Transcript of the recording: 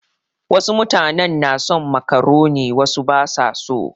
Wasu mutanen na son makaroni wasu ba su so.